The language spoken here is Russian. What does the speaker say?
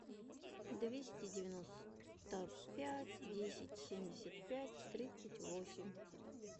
двести девяносто пять десять семьдесят пять тридцать восемь